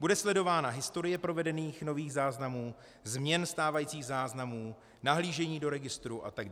Bude sledována historie provedených nových záznamů, změn stávajících záznamů, nahlížení do registru atd.